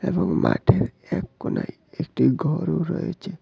এবং মাঠের এক কোণায় একটি ঘরও রয়েচে।